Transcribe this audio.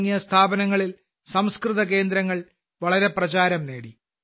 തുടങ്ങിയ സ്ഥാപനങ്ങളിൽ സംസ്കൃതകേന്ദ്രങ്ങൾ പ്രചാരംനേടി